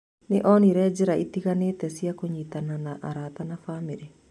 Nĩ onire njĩra itiganĩte cia kũnyitana na arata na bamĩrĩ.